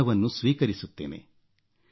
ನಿಮ್ಮ ಋಣವನ್ನು ಸ್ವೀಕರಿಸುತ್ತೇನೆ